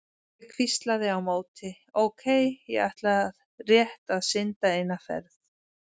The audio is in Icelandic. Og ég hvíslaði á móti: Ókei, ég ætla rétt að synda eina ferð.